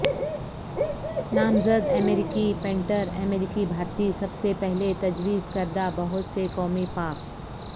نامزد امریکی پینٹر امریکی بھارتی سب سے پہلے تجویز کردہ بہت سے قومی پارک